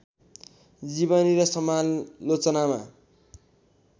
जीवनी र समालोचनामा